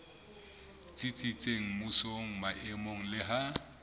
tsitsitseng mmusong maemong le ha